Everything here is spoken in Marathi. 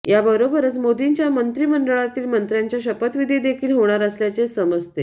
या बरोबरच मोदींच्या मंत्रिमंडळातील मंत्र्यांचा शपथविधी देखील होणार असल्याचेच समजते